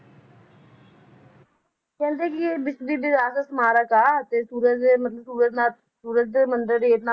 ਕਹਿੰਦੇ ਕਿ ਇਹ ਸਮਾਰਕ ਆ ਤੇ ਸੂਰਜ ਦੇ ਮਤਲਬ ਸੂਰਜ ਨਾਲ ਸੂਰਜ ਦੇ ਮੰਦਿਰ